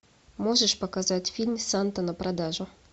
можешь показать фильм санта на продажу